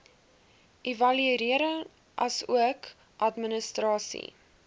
evaluering asook administrasie